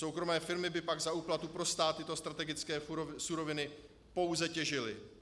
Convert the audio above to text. Soukromé firmy by pak za úplatu pro stát tyto strategické suroviny pouze těžily.